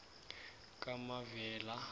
kamavela